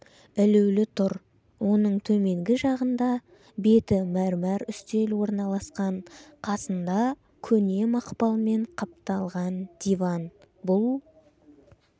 ілулі тұр оның төменгі жағында беті мәрмәр үстел орналасқан қасында көне мақпалмен қапталған диван бұл